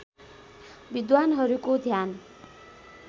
विद्वानहरूको ध्यान